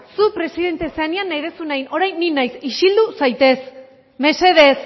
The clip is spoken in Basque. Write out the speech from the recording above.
zu presidente zenean nahi duzuna egin orain ni naiz isildu zaitez mesedez